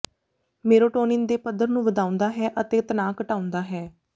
serotonin ਦੇ ਪੱਧਰ ਨੂੰ ਵਧਾਉਂਦਾ ਹੈ ਅਤੇ ਤਣਾਅ ਘਟਾਉਂਦਾ ਹੈ